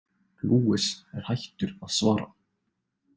Luis er hættur að svara.